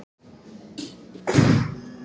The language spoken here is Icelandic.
Heimir Már Pétursson: Hvað finnst þér um það?